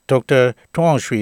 ဒေါက်တာထွန်းအောင်ရွှေ